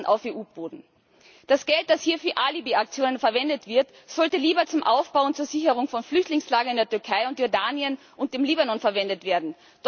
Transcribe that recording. auf EU Boden Fuß zu fassen. Das Geld, das hier für Alibiaktionen verwendet wird, sollte lieber zum Aufbau und zur Sicherung von Flüchtlingslagern in der Türkei, Jordanien und im Libanon verwendet werden.